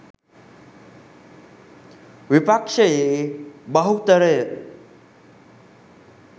විපක්‍ෂයේ බහුතරය